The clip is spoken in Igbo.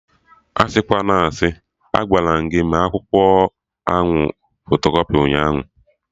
Asịkwana asị! Agwaram gị mee akwụkwọ ahụ fotokọpị ụnyaahụ